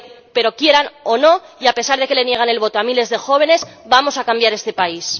Pero quieran o no, y a pesar de que le niegan el voto a miles de jóvenes, vamos a cambiar este país.